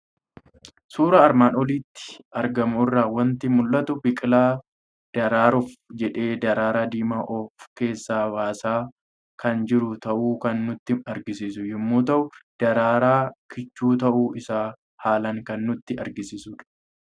Suuraa armaan olitti argamu irraa waanti mul'atu; biqilaa daraaruuf jedhee daraara diimaa of keessa baasaa kan jiru ta'u kan nutti agarsiisu yommuu ta'u, daraara kichhuu ta'uu isaa haalan kan nutti agarsiisudha.